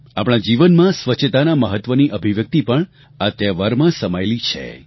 આપણા જીવનમાં સ્વચ્છતાનાં મહત્વની અભિવ્યક્તિ પણ આ તહેવારમાં સમાયેલી છે